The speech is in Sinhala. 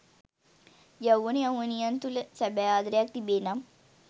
යෞවන යෞවනියන් තුළ සැබෑ ආදරයක් තිබේනම්